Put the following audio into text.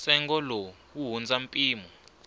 ntsengo lowu wu hundza mpimo